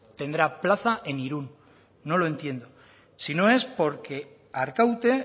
tendrá plaza en irun no lo entiendo si no es porque arkaute